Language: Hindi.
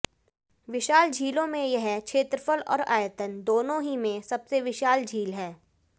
विशाल झीलो में यह क्षेत्रफल और आयतन दोनों ही में सबसे विशाल झील है